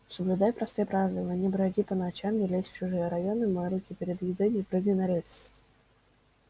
соблюдай простые правила не броди по ночам не лезь в чужие районы мой руки перед едой не прыгай на рельсы